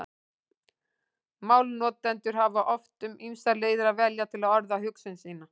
Málnotendur hafa oft um ýmsar leiðir að velja til að orða hugsun sína.